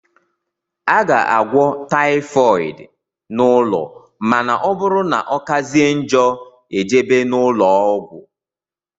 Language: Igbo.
A ga - agwọ typhooid n' ụlọ ma na ọbụrụ na ọkazie njọ ejebe n' ulọọgwu.